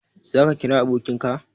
Za ka kira abokin ka?